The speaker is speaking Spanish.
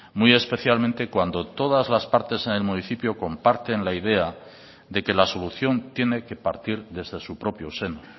muy especialmente cuando todas las partes en el municipio comparten la idea de que la solución tiene que partir desde su propio seno